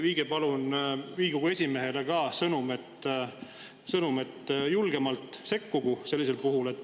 Viige palun Riigikogu esimehele sõnum, et ta sekkugu sellisel juhul julgemalt.